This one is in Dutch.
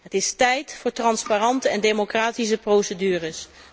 Het is tijd voor transparante en democratische procedures.